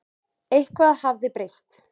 Eitthvað hafði breyst.